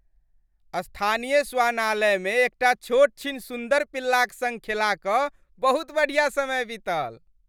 स्थानीय श्वानालयमे एकटा छोटछीन सुन्दर पिल्लाक सङ्ग खेला कऽ बहुत बढ़िया समय बीतल।